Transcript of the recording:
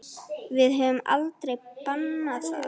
Við höfum aldrei bannað það.